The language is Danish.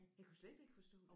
Jeg kunne slet ikke forstå det